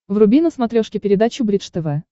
вруби на смотрешке передачу бридж тв